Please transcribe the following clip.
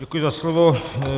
Děkuji za slovo.